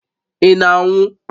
Ị na-anwụ?